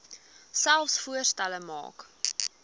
selfs voorstelle maak